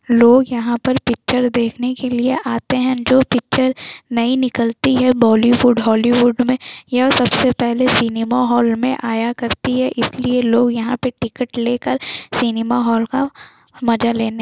लोग यहाँ पर पिक्चर देख़ने के लिए आते हैं जो पिक्चर नई निकलती है बॉलीवुड हॉलीवुड में यह सबसे पहले सिनेमा हॉल में आया करती है इसलिए लोग यहाँ पे टिकट लेकर सिनेमा हॉल का मजा लेने --